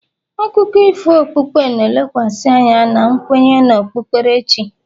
akụkọ ifo okpukpe na-elekwasị anya na nkwenye na okpukperechi